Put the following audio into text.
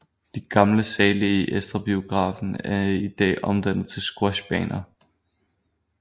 De gamle sale i Astra Biografen er i dag omdannet til Squashbaner